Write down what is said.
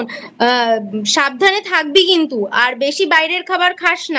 সাবধানে থাকবি কিন্তু আর বেশি বাইরের খাবার খাস না।